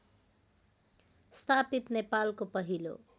स्थापित नेपालको पहिलो